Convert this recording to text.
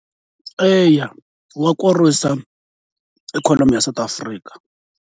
Eya wa khorwisa ikhonomi ya South Africa.